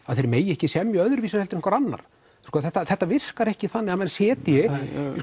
að þeir megi ekki semja öðruvísi en einhver annar þetta virkar ekki þannig að menn setji